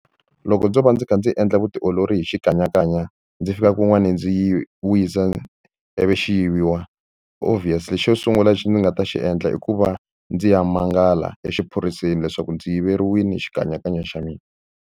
Loko ndzo va ndzi kha ndzi endla vutiolori hi xikanyakanya ndzi fika kun'wani ndzi yi wisa ivi xi yiviwa obvious lexi xo sungula lexi ndzi nga ta xi endla i ku va ndzi ya mangala exiphoriseni leswaku ndzi yiveriwile xikanyakanya xa mina.